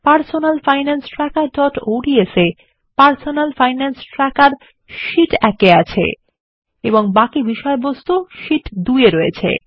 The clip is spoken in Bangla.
personal finance trackerঅডস এ Personal Finance Trackerশীট 1 এ আছে এবং বাকি বিষয়বস্তুর শীট 2এ রয়েছে